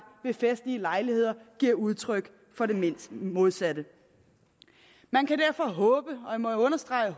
ved festlige lejligheder giver udtryk for det modsatte man kan derfor